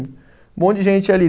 Um monte de gente ali.